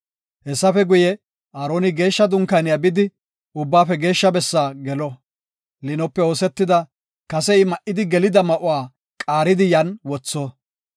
Hessafe guye, Aaroni Geeshsha Dunkaaniya bidi Ubbaafe Geeshsha bessaa gelo. Liinope oosetida kase I ma7idi gelida ma7uwa qaaridi yan wotho.